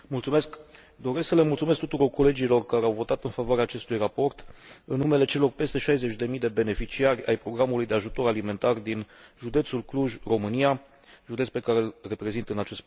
Doresc să le mulțumesc tuturor colegilor care au votat în favoarea acestui raport în numele celor 60 de mii de beneficiari ai programului de ajutor alimentar din județul Cluj, România, județ pe care îl reprezint în acest Parlament.